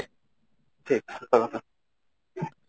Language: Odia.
ଠିକ ହଁ ହଁ